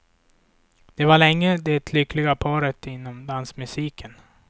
De var länge det lyckliga paret inom dansmusiken.